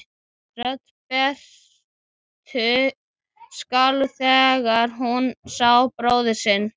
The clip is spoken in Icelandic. Rödd Berthu skalf þegar hún sá bróður sinn.